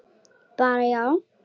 Bara já?